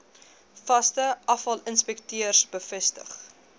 vaste afvalinspekteurs bevestig